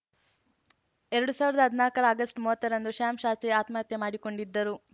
ಎರಡು ಸಾವಿರದ ಹದ್ನಾಕರ ಆಗಸ್ಟ್ ಮೂವತ್ತರಂದು ಶಾಂ ಶಾತ್ವಿ ಆತ್ಮಹತ್ಯೆ ಮಾಡಿಕೊಂಡಿದ್ದರು